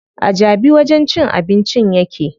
A Jabi wajen cin abincin yake.